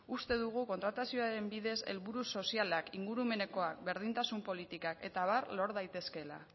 uste dugu kontratazioaren bidez helburu sozialak ingurumenekoak berdintasun politikak eta abar lor daitezkeela